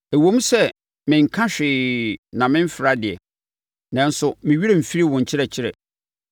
Ɛwom sɛ mennka hwee na memfra deɛ, nanso me werɛ mfiri wo nkyerɛkyerɛ.